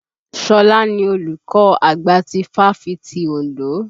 Ṣọlá ni olùkọ́ àgbà ti fáfitì Òndó.